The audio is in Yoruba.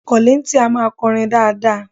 Kọ̀líńtìn a máa kọrin dáadáa